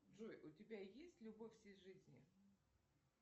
джой у тебя есть любовь всей жизни